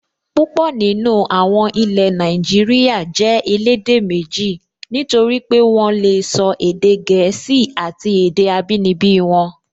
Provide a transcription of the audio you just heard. Púpọ̀ nínú àwọn ilẹ̀ Nàìjíríyà jẹ́ elédè méjì, nítorí pé wọ́n lè sọ èdè gẹ̀ẹ́sì àti èdè abínibí wọn